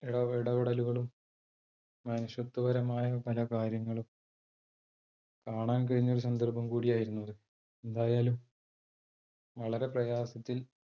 ഇടപെടലുകളും മനുഷ്യത്വ പരമായ പല കാര്യങ്ങളും കാണാൻ കഴിഞ്ഞ ഒരു സന്ദർഭം കൂടി ആയിരുന്നു അത്. എന്തായാലും വളരെ പ്രയാസത്തിൽ